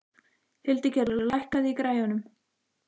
Hildigerður, lækkaðu í græjunum.